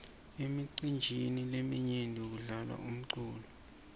emicinjini leminyenti kudlalwa umculo